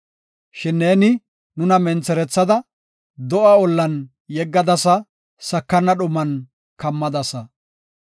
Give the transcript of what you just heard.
Shin neeni nuna mentherethada do7a ollan yeggadasa; sakana dhuman kammadasa.